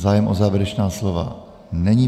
Zájem o závěrečná slova není.